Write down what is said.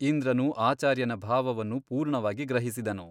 ಇಂದ್ರನು ಆಚಾರ್ಯನ ಭಾವವನ್ನು ಪೂರ್ಣವಾಗಿ ಗ್ರಹಿಸಿದನು.